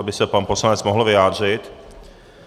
Aby se pan poslanec mohl vyjádřit.